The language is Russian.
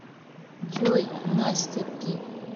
джой настя пи